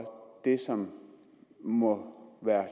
det som må være